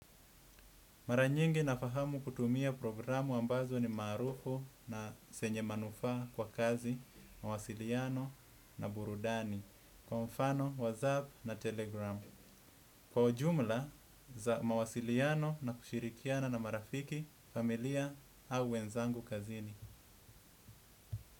Mara nyingi nafahamu kutumia programu ambazo ni maarufu na zenye manufaa kwa kazi mawasiliano na burudani. Kwa mfano whatsapp na telegram. Kwa ujumla za mawasiliano na kushirikiana na marafiki familia au wenzangu kazini.